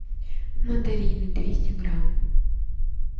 мандарины двести грамм